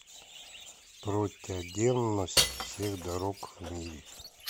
протяденность всех дорог в мире